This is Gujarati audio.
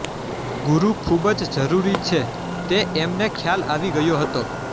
ગુરુ ખૂબ જ જરૂરી છે તે એમને ખ્યાલ આવી ગયો હતો